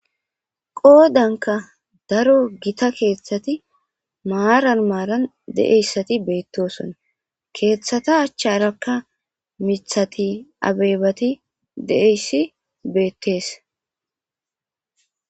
qoodanka daro gita keeththati maaran maaran de7eyssati beettosona keeththata achcharakka mithati abeebati deeyssi beettes